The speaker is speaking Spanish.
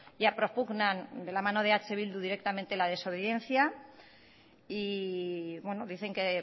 ya propugnan de la mano de eh bildu directamente la desobediencia y dicen que